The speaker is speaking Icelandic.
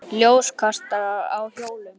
Ljóskastarar á hjólum.